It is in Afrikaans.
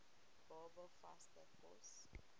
baba vaste kos